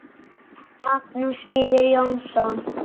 Magnús Víðir Jónsson